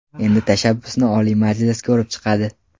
Endi tashabbusni Oliy Majlis ko‘rib chiqadi.